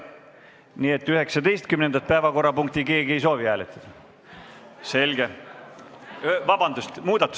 Nii et 19. muudatusettepanekut keegi hääletada ei soovi?